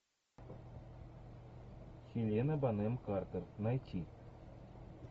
хелена бонем картер найти